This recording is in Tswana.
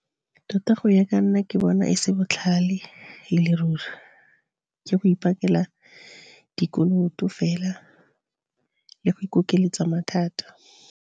Tota go ya ka nna ke bona e se botlhale e le ruri, ke go ipakela dikoloto fela le go ikokeletsa mathata.